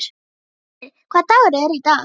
Hersir, hvaða dagur er í dag?